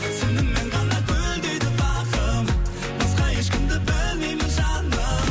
сенімен ғана гүлдейді бағым басқа ешкімді білмеймін жаным